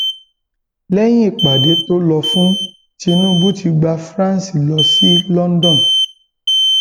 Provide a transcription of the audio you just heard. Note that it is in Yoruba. lẹyìn ìpàdé tó lọ fún tinubu ti gba france lọ sí london